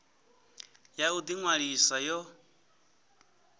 ya u ḓi ṅwalisa yo